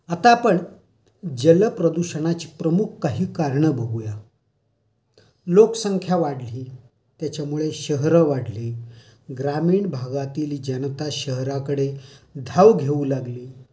आता आपण जल प्रदूषणाची प्रमुख काही कारणं बघूया. लोकसंख्या वाढली, त्याच्यामुळे शहरं वाढली, ग्रामीण भागातील जनता शहराकडे धाव घेऊ लागली.